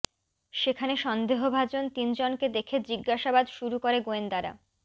সেখানে সন্দেহভাজন তিন জনকে দেখে জিজ্ঞাসাবাদ শুরু করে গোয়েন্দারা